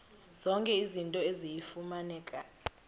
zonke izinto eziyimfuneko